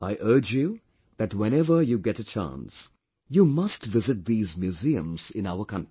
I urge you that whenever you get a chance, you must visit these museums in our country